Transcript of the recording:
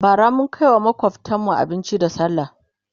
bara mun Kai wa makwftanmu abinci da sallah